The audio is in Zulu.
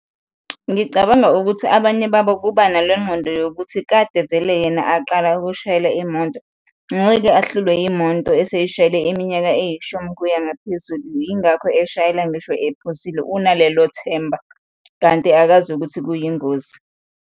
Ngicabanga ukuthi abanye babo kuba nalengqondo yokuthi kade vele yena aqala ukushayela imonto, ngeke ahlulwe imonto eseyishayele iminyaka eyishumi kuya ngaphezulu, yingakho eshayela ngisho ephuzile, unalelo themba kanti akazi ukuthi kuyingozi.